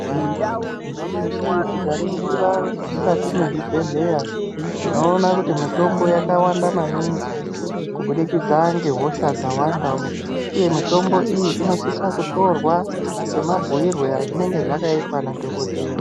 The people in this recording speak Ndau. Nyamashi tikaringira mukati mwezvibhedhleya tinoona kuti mitombo yakawanda maningi kubudikidza ngehosha dzawandao uye mitombo iyi inosisa kutorwa semabhuirwe azvinenge zvakaitwa nadhokodheya.